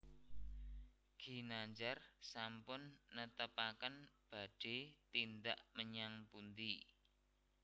Ginandjar sampun netepaken badhe tindak menyang pundi